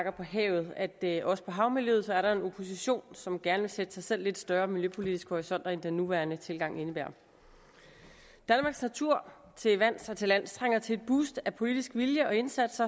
på havet at der også for havmiljøet er en opposition som gerne vil sætte sig selv lidt større miljøpolitiske horisonter end den nuværende tilgang indebærer danmarks natur til vands og til lands trænger til et boost af politisk vilje og indsats